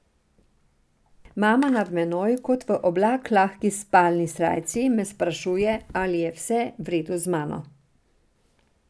Mama nad menoj v kot oblak lahki spalni srajci me sprašuje, ali je vse v redu z mano.